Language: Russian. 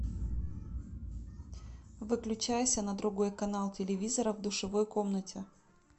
выключайся на другой канал телевизора в душевой комнате